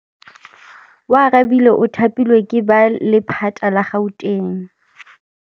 Oarabile o thapilwe ke lephata la Gauteng.